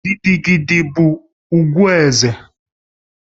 Gidi gidi bụ ugwu eze